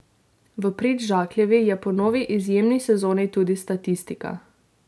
V prid Žakljevi je po novi izjemni sezoni tudi statistika.